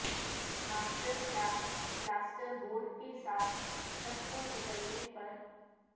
master class plaster board کے ساتھ چھت کو کچلنے پر